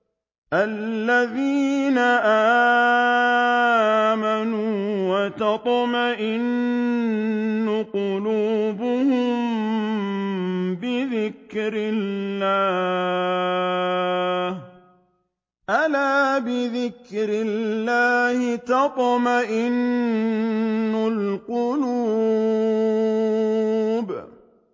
الَّذِينَ آمَنُوا وَتَطْمَئِنُّ قُلُوبُهُم بِذِكْرِ اللَّهِ ۗ أَلَا بِذِكْرِ اللَّهِ تَطْمَئِنُّ الْقُلُوبُ